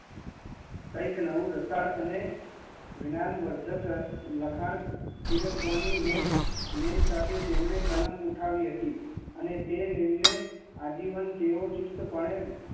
કંઈક નવું લાટડ અને જ્ઞાન લખન પીરસવાની નેમ સાથે કલમ ઉઠાવી હતી